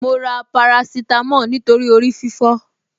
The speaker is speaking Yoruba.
Mo ra paracetamol nítorí orí fífọ́